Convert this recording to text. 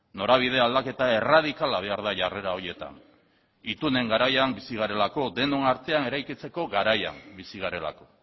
norabide aldaketa erradikala behar da jarrera horietan itunen garaian bizi garelako denon artean eraikitzeko garaian bizi garelako